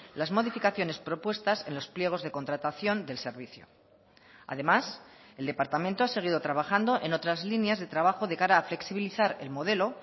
las modificaciones propuestas en los pliegos de contratación del servicio además el departamento ha seguido trabajando en otras líneas de trabajo de cara a flexibilizar el modelo